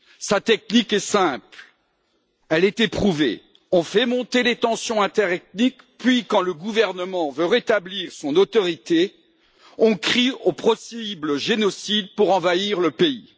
Sa technique est simple, elle est éprouvée on fait monter les tensions interethniques, puis, quand le gouvernement veut rétablir son autorité, on crie au possible génocide pour envahir le pays.